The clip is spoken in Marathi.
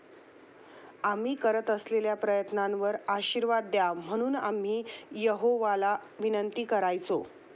आम्ही करत असलेल्या प्रयत्नांवर आशीर्वाद द्यावा म्हणून आम्ही यहोवाला विनंती करायचो.